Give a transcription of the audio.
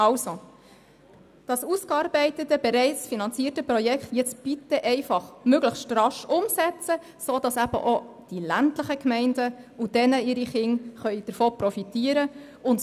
Also, setzen Sie das ausgearbeitete, bereits finanzierte Projekt möglichst rasch um, sodass auch die ländlichen Gemeinden und ihre Kinder davon profitieren können.